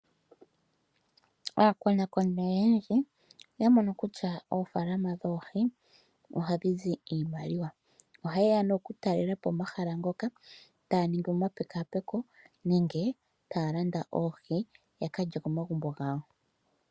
Aakonakoni oyendji oya mono kutya oofaalama dhoohi ohadhi zi iimaliwa, ohaye ya okutalelapo omahala ngoka etaya ningi omapekapeko nenge taya landa oohi ya kalye komagumbo gawo.